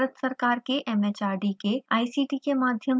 spoken tutorial project talk to a teacher project का हिस्सा है